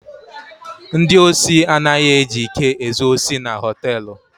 Ndị osi anaghi eji ike ezu osi na họtelụ.